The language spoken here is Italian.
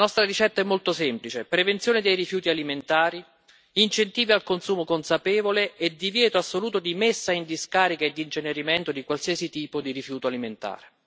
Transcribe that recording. La nostra ricetta è molto semplice prevenzione dei rifiuti alimentari, incentivi al consumo consapevole e divieto assoluto di messa in discarica e di incenerimento di qualsiasi tipo di rifiuto alimentare.